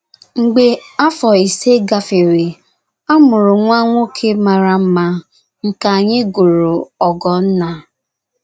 Mgbe afọ ise gafere, a mụrụ nwa nwoke mara mma nke anyị gụrụ Ogonna.